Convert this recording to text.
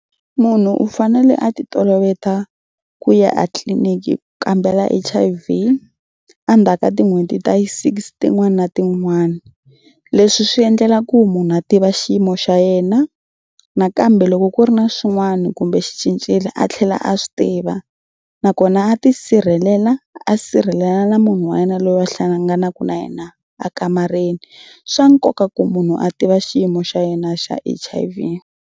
Munhu u fanele a titoloveta ku ya etliliniki ku kambela H_I_V endzhaku ka tin'hweti ta yi six tin'wana na tin'wana. Leswi swi endlela ku munhu a tiva xiyimo xa yena nakambe loko ku ri na swin'wana kumbe xi cincile a tlhela a swi tiva nakona a tisirhelela a sirhelela na munhu wa yena loyi a hlanganaka na yena ekamareni. Swa nkoka ku munhu a tiva xiyimo xa yena xa H_I_V.